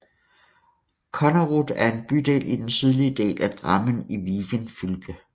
Konnerud er en bydel i den sydlige del af Drammen i Viken fylke